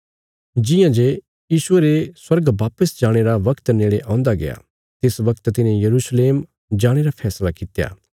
जियां जे यीशुये रे स्वर्ग वापस जाणे रा बगत नेड़े औंदा गया तिस बगत तिन्हे यरूशलेम जाणे रा फैसला कित्या